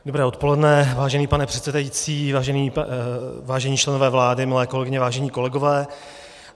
Dobré odpoledne, vážený pane předsedající, vážení členové vlády, milé kolegyně, vážení kolegové.